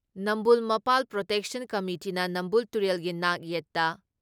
ꯅꯝꯕꯨꯜ ꯃꯄꯥꯜ ꯄ꯭ꯔꯣꯇꯦꯛꯁꯟ ꯀꯃꯤꯇꯤꯅ ꯅꯝꯕꯨꯜ ꯇꯨꯔꯦꯜꯒꯤ ꯅꯥꯛ ꯌꯦꯠꯇ